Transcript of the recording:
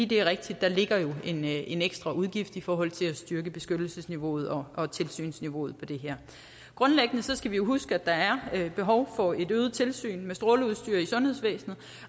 det er rigtigt at der ligger en en ekstra udgift i forhold til at styrke beskyttelsesniveauet og og tilsynsniveauet på det her grundlæggende skal vi huske at der er behov for et øget tilsyn med stråleudstyr i sundhedsvæsenet